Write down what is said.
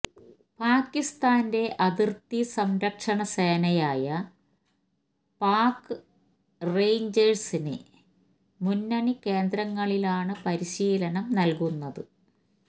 പാകിസ്ഥാന്റെ അതിര്ത്തി സംരക്ഷണ സേനയായ പാക് റേഞ്ച്ഴ്സിനു മുന്നണി കേന്ദ്രങ്ങളിലാണ് പരിശീലനം നല്കുന്നത്